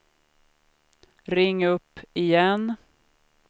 ring upp igen